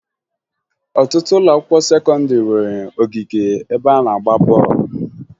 Ọtụtụ ụlọakwụkwọ sekọndịrị nwere ogige ebe a na-agba bọọlụ